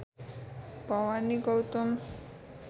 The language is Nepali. भवानी गौतम